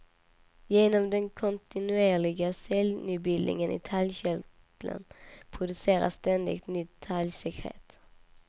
Genom den kontinuerliga cellnybildningen i talgkörteln produceras ständigt nytt talgsekret.